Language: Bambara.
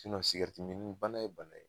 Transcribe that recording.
min bana ye bana ye